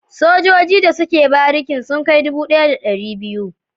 Sojoji da suke barikin sun kai dubu daya da dari biyu